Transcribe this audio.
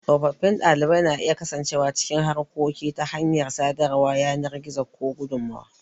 Tsofaffin ɗalibai na iya kasancewa cikin harkoki ta hanyar sadarwar yanar gizo ko gudummawa.